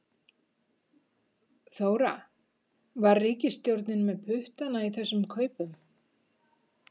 Þóra: Var ríkisstjórnin með puttana í þessum kaupum?